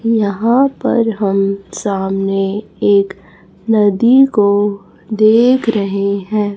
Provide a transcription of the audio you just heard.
यहां पर हम सामने एक नदी को देख रहे हैं।